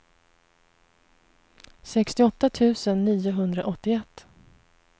sextioåtta tusen niohundraåttioett